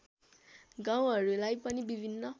गाउँहरूलाई पनि विभिन्न